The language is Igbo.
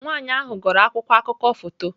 Nwanyị ahụ gụrụ akwụkwọ akụkọ foto.